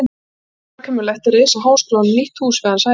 Það verður óhjákvæmilegt að reisa háskólanum nýtt hús við hans hæfi.